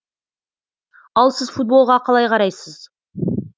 ал сіз футболға қалай қарайсыз